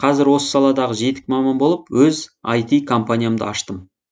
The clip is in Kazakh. қазірде осы саладағы жетік маман болып өз айти компаниямды аштым